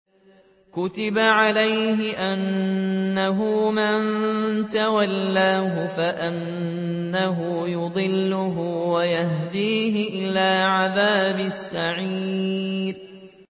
كُتِبَ عَلَيْهِ أَنَّهُ مَن تَوَلَّاهُ فَأَنَّهُ يُضِلُّهُ وَيَهْدِيهِ إِلَىٰ عَذَابِ السَّعِيرِ